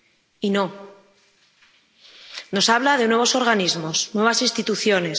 Y no nos habla de nuevos organismos, nuevas instituciones...